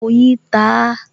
Oyin ta á